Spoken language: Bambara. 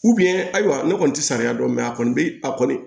ayiwa ne kɔni ti sariya dɔn a kɔni bɛ a kɔni